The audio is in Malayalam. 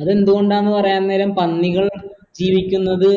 അത് എന്തുകൊണ്ടാ പറയാൻ നേരം പന്നികൾ ജീവിക്കുന്നത്